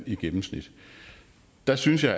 i gennemsnit der synes jeg